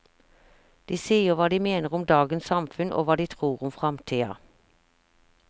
De sier hva de mener om dagens samfunn og hva de tror om framtida.